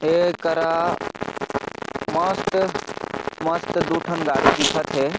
ऐ करा मस्त मस्त दु ठन गाड़ी दिखत हे।